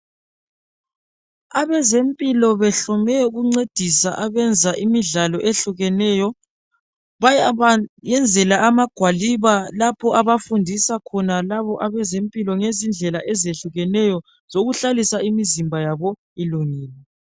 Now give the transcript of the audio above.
Abazempilo behlome ukuncedisa abenza imidlalo ehlukeneyo, bayabayenzela amagwaliba lapha abafundisa khona abezempilo izindlela ezehlukeneyo zokuhlalisa imizimba ilungile.